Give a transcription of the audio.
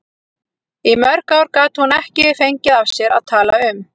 Í mörg ár gat hún ekki fengið af sér að tala um